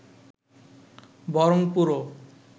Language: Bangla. বরং পুরো